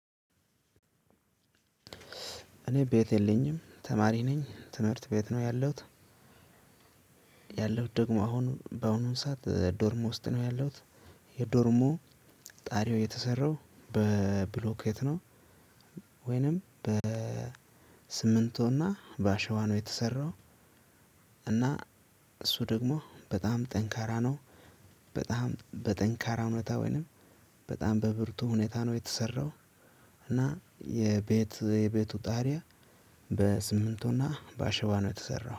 እኔ ቤት የለኝም ተማሪ ነኝ ትምህርት ቤት ነው ያለሁት። ያለሁት ደግሞ አሁን በአሁኑ ሰዓት ዶርሞ ውስጥ ነው ያለውት። የዶርሙ ጣሪያ የተሰራው በብሎኬት ነው። ወይንም በሲምንቶና በአሸዋ የተሰራው። እና እሱ ደግሞ በጣም ጠንካራ ነው። በጣም በጠንካራ ሁኔታ ወይንም በጣም በብርቱ ሁኔታ ነው የተሰራው። እና የቤት የቤቱ ጣሪያ በሲምንቶና በአሸዋ ነው የተሰራው